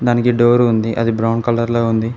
దానికి డోర్ ఉంది అది బ్రౌన్ కలర్ లో ఉంది.